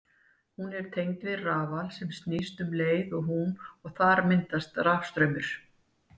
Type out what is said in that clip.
Hún er tengd við rafal sem snýst um leið og hún og þar myndast rafstraumur.